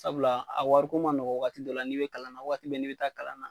Sabula a wariko ma nɔgɔ waati dɔ la n'i bɛ kalan na waati bɛɛ ne bɛ taa kalan na.